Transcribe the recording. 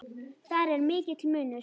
Þar er mikill munur.